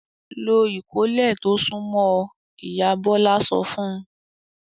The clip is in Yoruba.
"Lo ìkọ́lé tó súnmọ́ ọ!" Ìyá Bọ́lá sọ fún un.